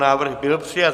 Návrh byl přijat.